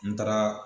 N taara